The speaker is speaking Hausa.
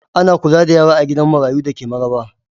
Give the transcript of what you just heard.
Ana kula da yara a gida marayu da ke Maraba.